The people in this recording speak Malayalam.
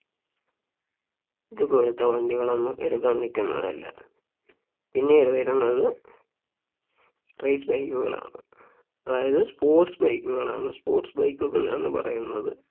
ഇതുപോലത്തെ വണ്ടികൾ ഒന്നും എടുക്കാൻ നിക്കുന്നതല്ല പിന്നീട് വരുന്നത് Race bike കളാണ് അതായത് sports bike കളാണ് sports bike കളെന്ന് പറയുന്നത്